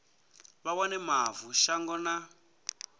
vha wane mavu shango na